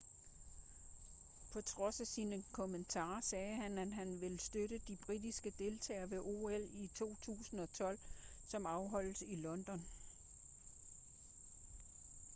på trods af sine kommentarer sagde han at han vil støtte de britiske deltagere ved ol i 2012 som afholdes i london